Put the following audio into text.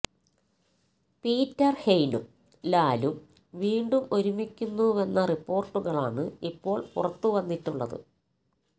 Peter ഹെയ്നും ലാലും വീണ്ടും ഒരുമിക്കുന്നുവെന്ന റിപ്പോര്ട്ടുകളാണ് ഇപ്പോള് പുറത്തുവന്നിട്ടുള്ളത്